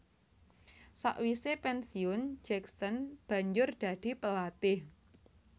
Sakwise pensiun Jackson banjur dadi pelatih